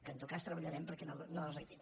que en tot cas treballarem perquè no arribin